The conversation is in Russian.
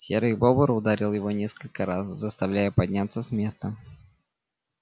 серый бобр ударил его несколько раз заставляя подняться с места